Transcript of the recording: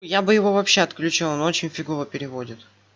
я бы его вообще отключал он очень фигово переводит